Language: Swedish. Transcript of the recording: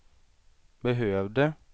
behövde